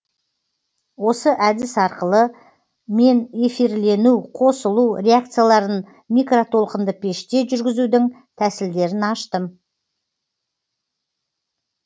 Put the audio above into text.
осы әдіс арқылы мен эфирлену қосылу реакцияларын микротолқынды пеште жүргізудің тәсілдерін аштым